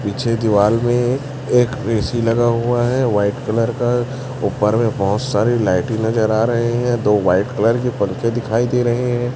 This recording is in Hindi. पीछे दीवाल में एक ए_सी लगा हुआ है व्हाइट कलर का ऊपर में बहुत सारी लाइट ही नजर आ रहे हैं दो व्हाइट कलर की परिचे दिखाई दे रहे हैं।